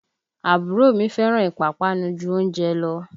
Àbúrò mi fẹ́ràn ìpápánu ju oúnjẹ lọ